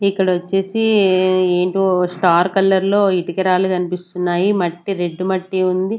ఇక్కడ ఓచ్చేసి ఎంటో స్టార్ట్ కలర్ లో ఇటుకురాళ్ళు కనిపిస్తున్నాయి మట్టి రెడ్ మట్టి ఉంది.